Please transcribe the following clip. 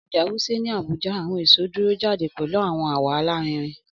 Ọja Wuse ni Abuja, awọn eso duro jade pẹlu awọn awọ larinrin